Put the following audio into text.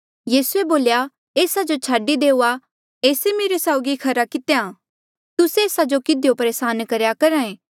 यीसूए बोल्या एस्सा जो छाडी देऊआ एस्से मेरे साउगी खरा कितेया तुस्से एस्सा जो किधियो परेसान करेया करहा ऐें